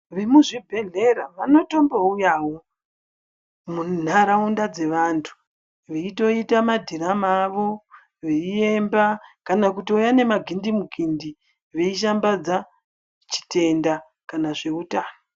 Vemuzvibhedhlera vanotombouyawo munharaunda dzevantu, veitoita madhirama avo, veiemba kana kutouya nemagindi mukindi veishambadza chitenda kana zveutano.